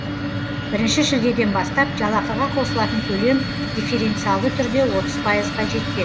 бірінші шілдеден бастап жалақыға қосылатын төлем дифференциалды түрде отыз пайызға дейін жетпек